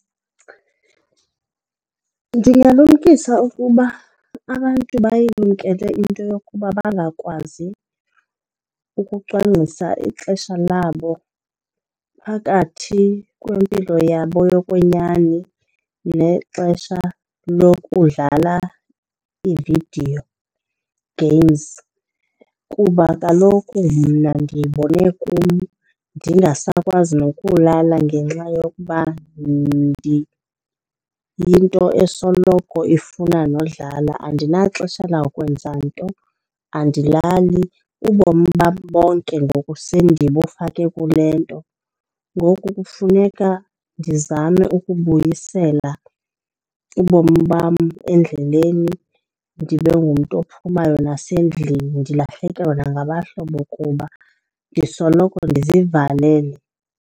Ndingalumkisa ukuba abantu bayilumkele into yokuba bangakwazi ukucwangcisa ixesha labo phakathi kwempilo yabo yokwenyani nexesha lokudlala ii-video games kuba kaloku mna ndiyibone kum ndingasakwazi nokulala ngenxa yokuba ndiyinto esoloko ifuna nodlala. Andinaxesha lawukwenza nto, andilali, ubomi bam bonke ngoku sendibufake kule nto. Ngoku kufuneka ndizame ukubuyisela ubomi bam endleleni ndibe ngumntu ophumayo nasendlini. Ndilahlekelwe nangabahlobo kuba ndisoloko ndizivalele.